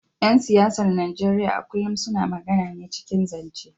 ‘Yan siyasar Najeriya a kullum suna magana ne cikin zance.